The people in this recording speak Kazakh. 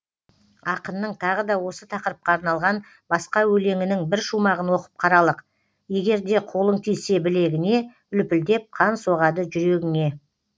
ақынның тағы да осы тақырыпқа арналған басқа өлеңінің бір шумағын оқып қаралық егер де қолың тисе білегіне лүпілдеп қан соғады жүрегіңе